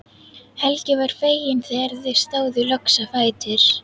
Helgi var feginn þegar þau stóðu loks á fætur.